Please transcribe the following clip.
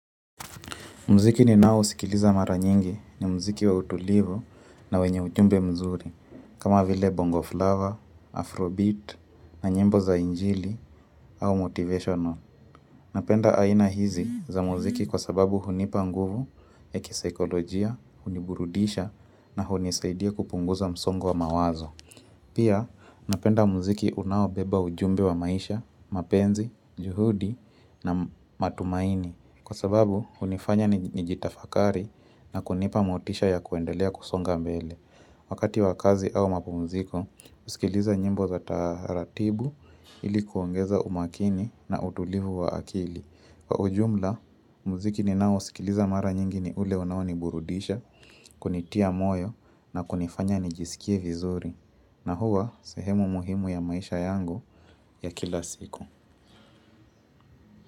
Mziki ni nao sikiliza mara nyingi ni mziki wa utulivu na wenye ujumbe mzuri, kama vile bongo flava, afrobeat, na nyimbo za injili, au motivational. Napenda aina hizi za muziki kwa sababu hunipa nguvu, ekisaikolojia, huniburudisha na hunisaidia kupunguza msongo wa mawazo. Pia, napenda mziki unao beba ujumbe wa maisha, mapenzi, juhudi na matumaini. Kwa sababu hunifanya nijitafakari na kunipa motisha ya kuendelea kusonga mbele Wakati wakazi au mapu mziko, usikiliza nyimbo za taaratibu ilikuongeza umakini na utulivu wa akili Kwa ujumla, mziki ni nao usikiliza mara nyingi ni ule unaoni burudisha, kunitia moyo na kunifanya nijisikie vizuri na huwa, sehemu muhimu ya maisha yangu ya kila siku.